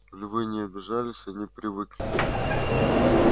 львы не обижались они привыкли